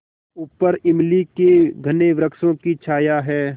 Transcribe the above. ऊपर इमली के घने वृक्षों की छाया है